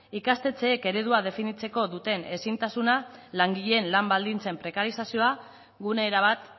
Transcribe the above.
ikastetxeek eredua definitzeko duten ezintasuna langileen lan baldintzen prekarizazioa gune erabat